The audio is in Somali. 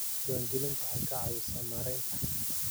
Diiwaangelintu waxay ka caawisaa maaraynta hantida.